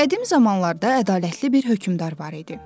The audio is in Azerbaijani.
Qədim zamanlarda ədalətli bir hökmdar var idi.